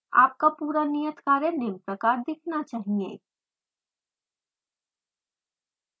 आपका पूरा नियत कार्य निम्न प्रकार दिखना चाहिए